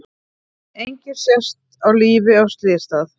Enginn sést á lífi á slysstað